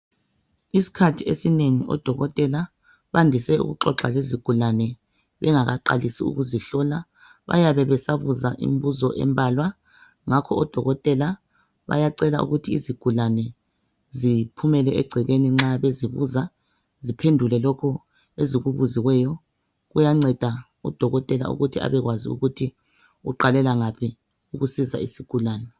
Isikhathi esinengi odokotela bandise ukuxoxa lezigulane bengakaqalisi ukuzihlola bayabe besabuza imibuzo embalwa ngakho odokotela bayacela ukuthi izigulane ziphumele egcekeni nxa bezibuza ziphendule lokhu ezikubuziweyo kuyanceda udokotela ukuthi abekwazi ukuthi uqalela ngaphi ukusiza isigulane.